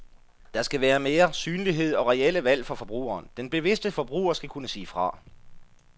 Der skal være mere synlighed og reelle valg for forbrugeren, den bevidste forbruger skal kunne sige fra.